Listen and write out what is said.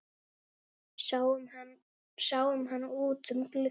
Sáum hann út um glugga.